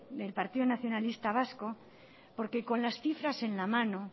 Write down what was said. del partido nacionalista vasco porque con las cifras en la mano